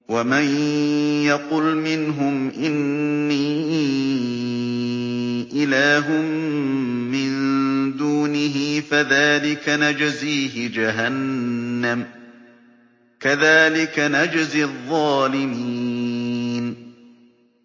۞ وَمَن يَقُلْ مِنْهُمْ إِنِّي إِلَٰهٌ مِّن دُونِهِ فَذَٰلِكَ نَجْزِيهِ جَهَنَّمَ ۚ كَذَٰلِكَ نَجْزِي الظَّالِمِينَ